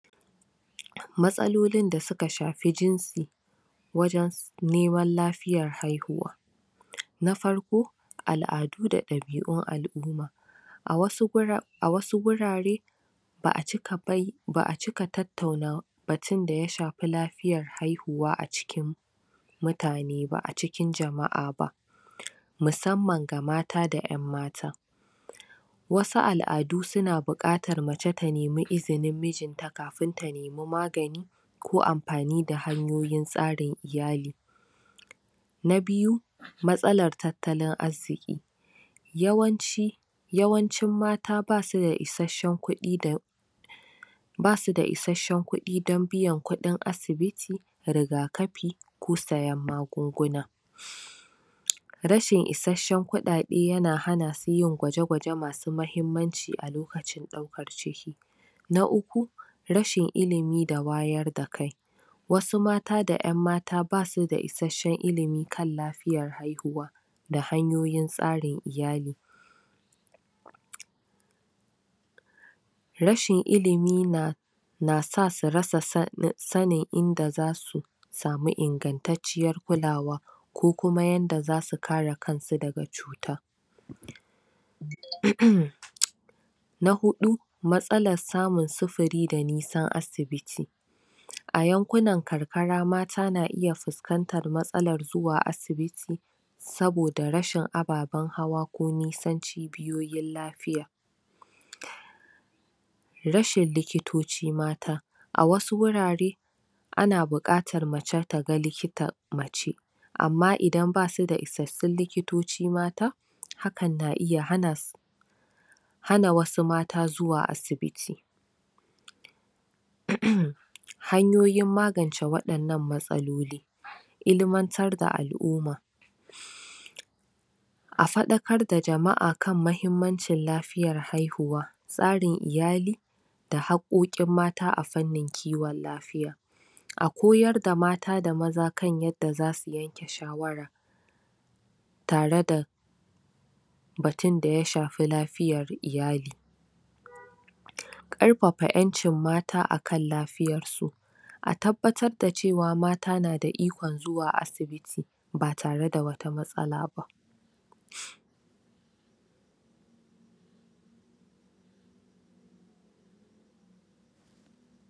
matsalolin da suka shafi jinsi wajen neman lafiyar haihuwa na farko al'adu da ɗabi'un alumma a wasu gurare ba'a cika bayya ba'a cika tattauna batun da yashafi lafiyar haihuwa acikin mutane ba acikin jama'a ba musamman ga mata da yan mata wasu al'adu suna bukatar mace ta nemi izinin mijin ta kafin ta nemi maganani ko anfani da hanyoyin tsarin iyali na biyu matsalar tattalin arziki yawanci yawancin mata basu da isashun kudi da basu da issashun kudi dan biyan kudin asbiti riga kafi ko sayan magunguna rashin isashen kuɗaɗe yana hana su yin gwaje gwaje masu muhimmanci a lokacin daukar ciki na uku rashin ilimi da wayar da kai wasu mata da yan mata basu da isashen ilimi akan lafiyar haihuwa da hanyoyin tsarin iyali rashin ilimi na na sa su rasa sanin inda zasu sami ingantarciyyar kulawa ko kuma yanda zasu kare kansu daga cuta ummm na huɗu matsalar samun sufuri da nisan asibiti a yankunan karkara mata na iya fuskantar matsalar zuwa asibiti saboda rashin ababen hawa ko nisan cibiyoyin lafiya rashin likitoci mata a wasu wurare ana bukatar mace taga likita mace amma idan basu da isashun likitoci mata hakan na iya hana su wasu mata zuwa asibiti um hanyoyin magance wadan nan matsaloli ilimantar da alumma a faɗakar da jama'a kan muhimmancin lafiyar haihuwa tsarin iyali da haqoqin mata akan harkan kiwon lafiya a koyar da mata da maza kan yanda zasu yanke shawara tare da batun da ya shafi lafiyar iyali karfafa yancin mata akan lafiyarsu a tabbatar da mata na da ikon zuwa asibiti batare da wata matsala ba